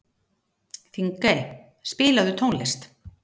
Þingey, spilaðu tónlist.